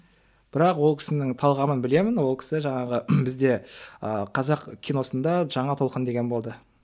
бірақ ол кісінің талғамын білемін ол кісі жаңағы бізде ыыы қазақ киносында жаңа толқын деген болды